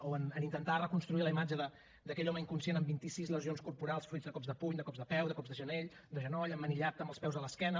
o en intentar reconstruir la imatge d’aquell home inconscient amb vint i sis lesions corporals fruit de cops de puny de cops de peu de cops de genoll emmanillat amb els peus a l’esquena